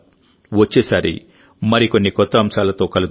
వచ్చేసారి మరికొన్ని కొత్త అంశాలతో కలుద్దాం